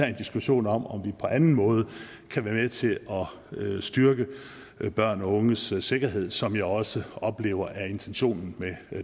en diskussion om om vi på anden måde kan være med til at styrke børn og unges sikkerhed som jeg også oplever er intentionen med